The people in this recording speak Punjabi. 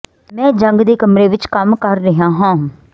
ਮੈਂ ਜੰਗ ਦੇ ਕਮਰੇ ਵਿਚ ਕੰਮ ਕਰ ਰਿਹਾ ਹਾਂ